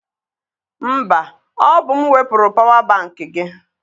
Mba, ọ bụ m wepụrụ pawa bankị gị.